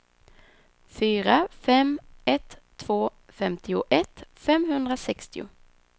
fyra fem ett två femtioett femhundrasextio